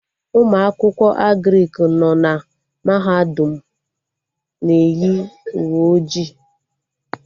Ụmụ akwụkwọ Agrịk nọ na mahadum m na-eyi uwe ojii